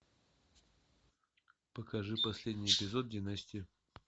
покажи последний эпизод династии